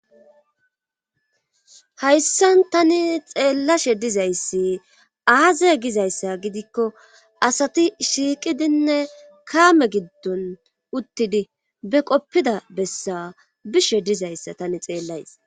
Hayssan tani xeellashe dizayssi aaze gizayssa gidikko asati shiiqidinne kaame giddon uttidi be qoppida bessa bishe dizayssa tani xeellays.